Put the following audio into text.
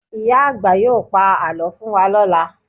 Ìyá àgbà yóò pa àlọ́ fún wa lọ́la